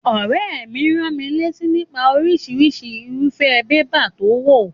Òréè mi ránmilátí nípa orísirísi irúfé paper to wò